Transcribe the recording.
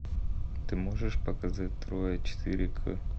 ты можешь показать троя четыре к